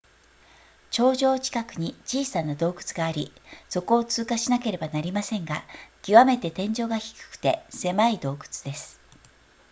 頂上近くに小さな洞窟がありそこを通過しなければなりませんが極めて天井が低くて狭い洞窟です